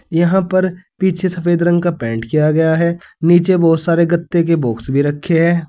यहां पर पीछे सफेद रंग का पेंट किया गया है नीचे बहुत सारे गत्ते के बॉक्स भी रखे हैं।